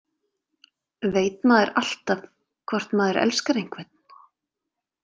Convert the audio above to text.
Veit maður alltaf hvort maður elskar einhvern?